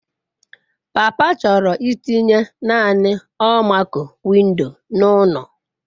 Papa chọrọ itinye naanị almaco-window n'ụlọ.